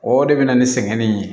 O de bɛ na ni sɛŋɛnni ye